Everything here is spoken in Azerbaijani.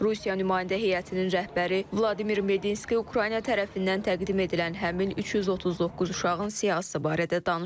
Rusiya nümayəndə heyətinin rəhbəri Vladimir Medinski Ukrayna tərəfindən təqdim edilən həmin 339 uşağın siyahısı barədə danışıb.